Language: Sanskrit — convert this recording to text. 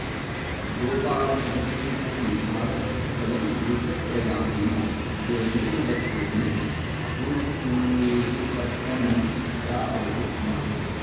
गोपालनवृत्तिम् अपि आरभ्य स्वयं द्विचक्रयानेन गोजन्यवस्तूनि हुणसूरुपत्तनं प्रापयति स्म